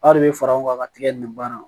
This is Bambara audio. Aw de bɛ fara ɲɔgɔn kan ka tigɛ nin baara